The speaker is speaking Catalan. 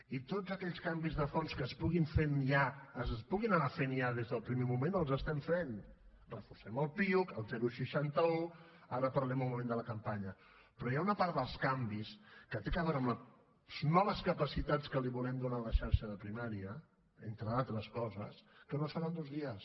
i tots aquells canvis de fons que es puguin anar fent ja des del primer moment els estem fent reforcem el piuc el seixanta un ara parlarem un moment de la campanya però hi ha una part dels canvis que té a veure amb les noves capacitats que li volem donar a la xarxa de primària entre d’altres coses que no es fan en dos dies